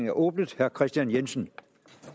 er åbnet herre kristian jensen